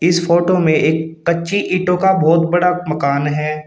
इस फोटो में एक कच्ची ईटों का बहोत बड़ा मकान है।